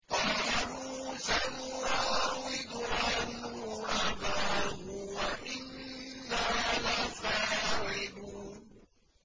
قَالُوا سَنُرَاوِدُ عَنْهُ أَبَاهُ وَإِنَّا لَفَاعِلُونَ